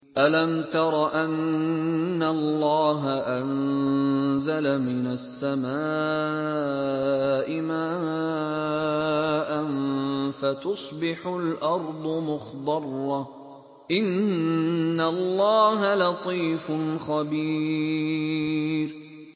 أَلَمْ تَرَ أَنَّ اللَّهَ أَنزَلَ مِنَ السَّمَاءِ مَاءً فَتُصْبِحُ الْأَرْضُ مُخْضَرَّةً ۗ إِنَّ اللَّهَ لَطِيفٌ خَبِيرٌ